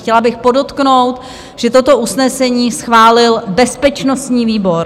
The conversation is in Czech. - Chtěla bych podotknout, že toto usnesení schválil bezpečnostní výbor.